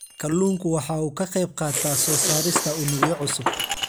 Kalluunku waxa uu ka qayb qaataa soo saarista unugyo cusub.